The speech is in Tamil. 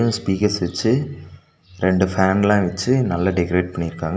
ஸ்பீக்கஸ் வச்சி ரெண்டு ஃபேன்லா வச்சி நல்லா டெக்ரேட் பண்ணிருக்காங்க அ--